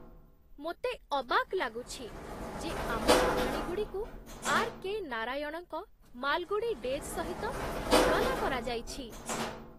ମୋତେ ଅବାକ୍ ଲାଗୁଛି, ଯେ ଆମ କାହାଣୀଗୁଡ଼ିକୁ ଆର୍.କେ. ନାରାୟଣଙ୍କ 'ମାଲଗୁଡି ଡେଜ୍' ସହିତ ତୁଳନା କରାଯାଇଛି!